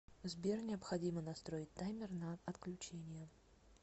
сбер необходимо настроить таймер на отключение